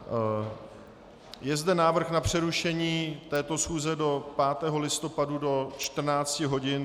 Je zde návrh na přerušení této schůze do 5. listopadu do 14 hodin.